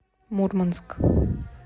мурманск